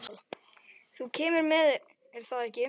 Þú kemur með, er það ekki?